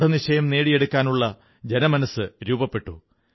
ദൃഢനിശ്ചയം നേടിയെടുക്കാനുള്ള ജനമനസ്സു രൂപപ്പെട്ടു